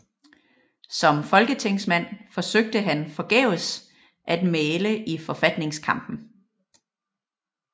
Som folketingsmand forsøgte han forgæves at mægle i forfatningskampen